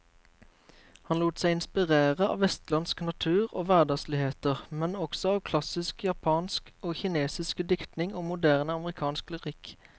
Han lot seg inspirere av vestlandsk natur og hverdagsligheter, men også av klassisk japansk og kinesisk diktning og moderne amerikansk lyrikk.